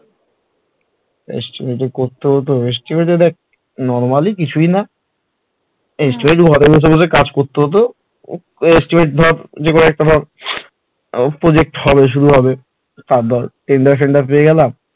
Estimate করতে হতে estimate এ দেখ normally কিছুই না estimate ঘরে ঘরে বসে কাজ করতে হত এই ধর যে কোন একটা project শুরু হবে তার ধর tender পেয়ে ফেন্ডার গেলাম